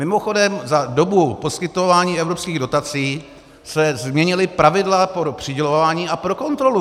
Mimochodem za dobu poskytování evropských dotací se změnila pravidla pro přidělování a pro kontrolu.